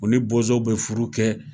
U ni bozow be furu kɛ.